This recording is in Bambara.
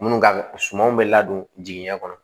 Minnu ka sumanw bɛ ladon jigiɲɛ kɔnɔ